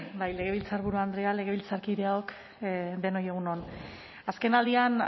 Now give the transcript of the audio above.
bai legebiltzarburu andrea legebiltzarkideok denoi egun on azkenaldian